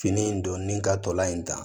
Fini in donni ka tolan in ta